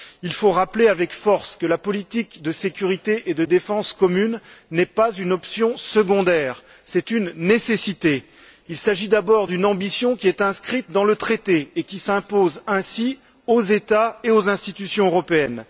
Il faut rappeler avec force que la politique de sécurité et de défense commune n'est pas une option secondaire, mais bien une nécessité. Il s'agit, d'abord, d'une ambition qui est inscrite dans le traité et qui s'impose ainsi aux États et aux institutions européennes.